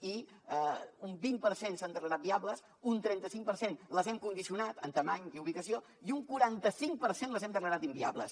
i un vint per cent s’han declarat viables un trenta cinc per cent les hem condicionat en mida i ubicació i un quaranta cinc per cent les hem declarat inviables